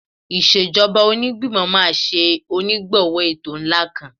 Ìṣèjọba Onígbìmọ̀ máa ṣe onígbọ̀wọ́ ètò ńlá kan